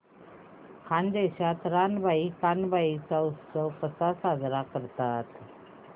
खानदेशात रानबाई कानबाई चा उत्सव कसा साजरा करतात